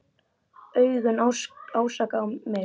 Augun ásaka mig.